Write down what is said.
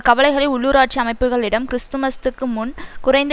கவலைகளை உள்ளூராட்சி அமைப்புக்களிடம் கிறிஸ்துமஸ்துக்கு முன் குறைந்த